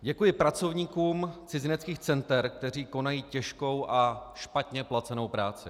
Děkuji pracovníkům cizineckých center, kteří konají těžkou a špatně placenou práci.